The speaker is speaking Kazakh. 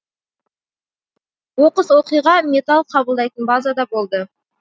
оқыс оқиға металл қабылдайтын базада болды